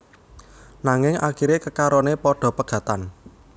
Nanging akiré kekaroné padha pegatan